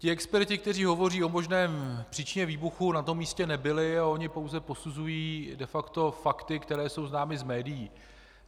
Ti experti, kteří hovoří o možné příčině výbuchu, na tom místě nebyli a oni pouze posuzují de facto fakta, která jsou známa z médií.